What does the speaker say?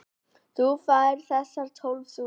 Þú færð þessar tólf stundir.